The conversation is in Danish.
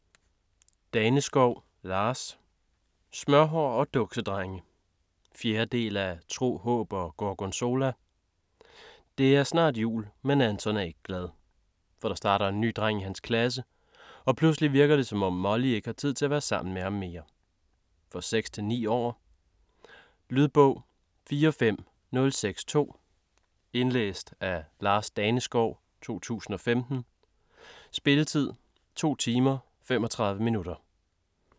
Daneskov, Lars: Smørhår og duksedrenge 4. del af Tro, håb og gorgonzola. Det er snart jul, men Anton er ikke glad. For der starter en ny dreng i hans klasse, og pludselig virker det, som om Molly ikke har tid til at være sammen med ham mere. For 6-9 år. Lydbog 45062 Indlæst af Lars Daneskov, 2015. Spilletid: 2 timer, 35 minutter.